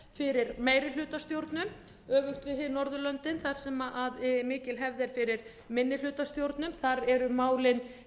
fyrir meirihlutastjórnum öfugt við hin norðurlöndin þar sem mikil hefð er fyrir minnihlutastjórnum þar eru málin